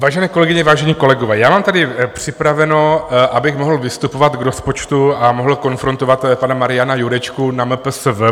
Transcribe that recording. Vážené kolegyně, vážení kolegové, já mám tady připraveno, abych mohl vystupovat k rozpočtu a mohl konfrontovat pana Mariana Jurečku na MPSV.